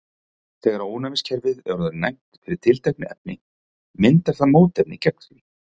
þegar ónæmiskerfið er orðið næmt fyrir tilteknu efni myndar það mótefni gegn því